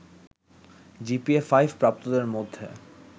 GPA five প্রাপ্তদের মধ্যে